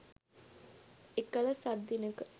එකළ සත්දිනක